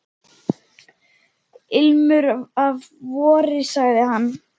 Ilmur af vori sagði hann.